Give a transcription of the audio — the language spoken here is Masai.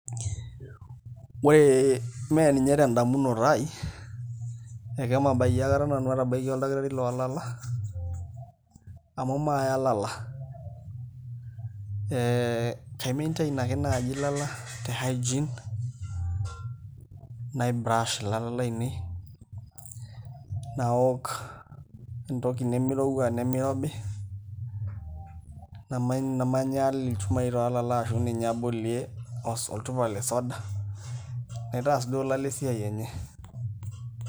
Ore mee ninye tendamunoto aai akemabayie nanu atabaikia oldakitari loolala amu maaya ilala ee kaimaintain ake naai ilala te hygiene naibrush ilala laainei naaok entoki nemirowua nemirobi namanyaal ilchumai ashu ninye abolie olchupa le suda, naitaas duo ialala esiai enye.